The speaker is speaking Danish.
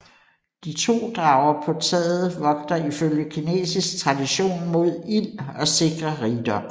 De to drager på taget vogter ifølge kinesisk tradition mod ild og sikrer rigdom